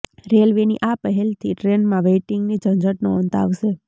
રેલવેની આ પહેલથી ટ્રેનમાં વેઈટિંગની ઝંઝટનો અંત આવશે